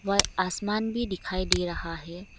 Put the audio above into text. व आसमान भी दिखाई दे रहा है।